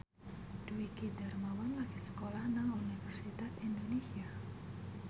Dwiki Darmawan lagi sekolah nang Universitas Indonesia